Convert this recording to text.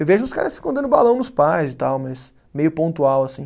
Eu vejo os caras que ficam dando balão nos pais e tal, mas meio pontual assim.